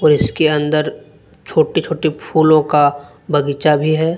इसके अंदर छोटे छोटे फूलों का बगीचा भी है।